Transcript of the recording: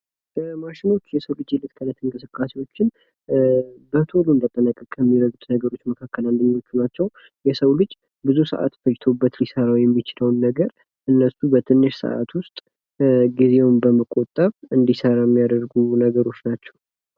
ማሽኖች የሰው ልጅ የእለት ተእለት እንቅስቃሴዎችን በቶሎ እንዲያጠናቅቅ ከሚያደርጉት መካከል አንድኞቹ ናቸው። የሰው ልጅ ብዙ ሰዓት ፈጅቶበት ሊሰራው የሚችለውን ነገር እነሱ በትንሽ ሰዓት ውስጥ ጊዜን በመቆጠብ እንዲሰራ የሚያደርጉ ነገሮች ናቸው።